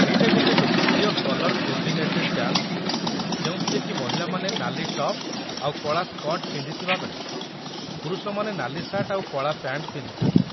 ଏଇଟା ଗୋଟେ ଲୋକପ୍ରିୟ କଲର୍ କୋର୍ଡିନେଟେଡ୍ ଡ୍ୟାନ୍ସ ଯେଉଁଥିରେକି ମହିଳାମାନେ ନାଲି ଟପ୍ ଆଉ କଳା ସ୍କର୍ଟ୍ ପିନ୍ଧିଥିବା ବେଳେ ପୁରୁଷମାନେ ନାଲି ସାର୍ଟ ଆଉ କଳା ପ୍ୟାଣ୍ଟ ପିନ୍ଧିଥାନ୍ତି ।